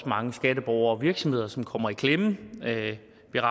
mange skatteborgere og virksomheder som kommer i klemme at